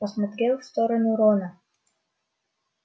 посмотрел в сторону рона